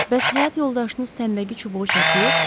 Bəs həyat yoldaşınız tənbəki çubuğu çəkir?